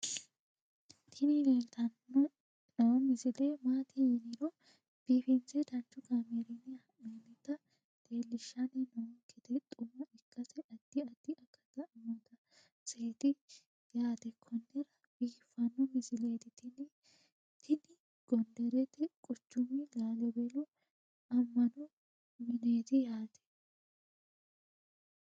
tini leeltanni noo misile maaati yiniro biifinse danchu kaamerinni haa'noonnita leellishshanni nonketi xuma ikkase addi addi akata amadaseeti yaate konnira biiffanno misileeti tini tini gonderete quchumi lallibelu amma'no mineeti yaate